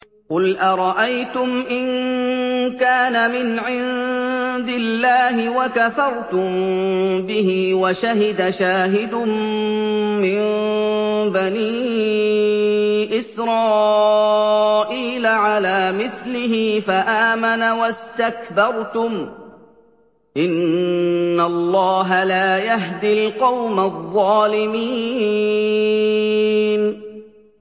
قُلْ أَرَأَيْتُمْ إِن كَانَ مِنْ عِندِ اللَّهِ وَكَفَرْتُم بِهِ وَشَهِدَ شَاهِدٌ مِّن بَنِي إِسْرَائِيلَ عَلَىٰ مِثْلِهِ فَآمَنَ وَاسْتَكْبَرْتُمْ ۖ إِنَّ اللَّهَ لَا يَهْدِي الْقَوْمَ الظَّالِمِينَ